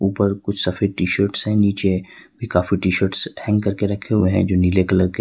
ऊपर कुछ सफेद टी शर्ट हैं नीचे काफी टी शर्ट हैंग करके रखे हुए हैं जो नीले कलर के हैं।